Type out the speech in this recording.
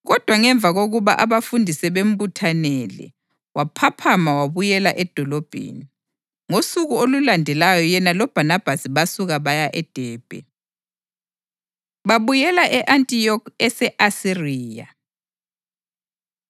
Kodwa ngemva kokuba abafundi sebembuthanele, waphaphama wabuyela edolobheni. Ngosuku olulandelayo yena loBhanabhasi basuka baya eDebhe. Babuyela E-Antiyokhi Ese-Asiriya